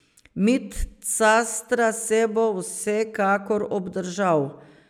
Mit Castra se bo vsekakor obdržal.